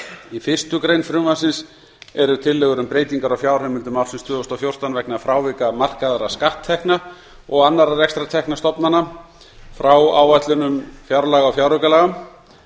í fyrstu grein frumvarpsins eru tillögur um breytingar á fjárheimildum ársins tvö þúsund og fjórtán vegna frávika markaðra skatttekna og annarra rekstrartekna stofnana frá áætlunum fjárlaga og fjáraukalaga